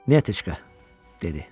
Nyetochka, dedi.